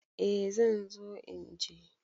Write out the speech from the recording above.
Eh zan zo inje.